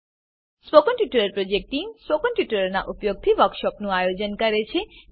spoken tutorial project team spoken ટ્યુટોરીયલોનાં ઉપયોગથી વર્કશોપોનું આયોજન કરે છે